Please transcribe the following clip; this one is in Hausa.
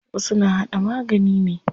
Wasu na haɗa magani ne.